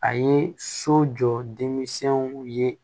A ye so jɔ denmisɛnw ye